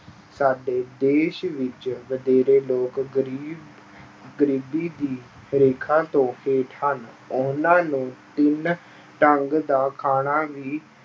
ਸਾਡੇ ਦੇਸ ਵਿੱਚ ਵਧੇਰੇ ਲੋਕ ਗ਼ਰੀਬ ਗ਼ਰੀਬੀ ਦੀ ਰੇਖਾ ਤੋਂ ਹੇਠ ਹਨ, ਉਹਨਾਂ ਨੂੰ ਤਿੰਨ ਢੰਗ ਦਾ ਖਾਣਾ ਵੀ